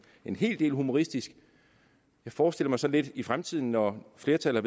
hel del humoristisk jeg forestiller mig sådan lidt i fremtiden når flertallet